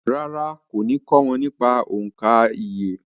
Rárá, kò ní kọ́ wọn nípa òǹkà iye